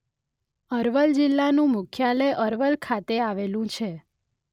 અરવલ જિલ્લાનું મુખ્યાલય અરવલ ખાતે આવેલું છે.